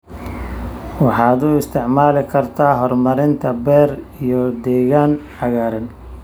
Waxaad u isticmaali kartaa horumarinta beer iyo deegaan cagaaran.